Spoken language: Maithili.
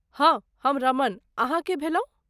हाँ, हम रमण। अहाँ के भेलहुँ?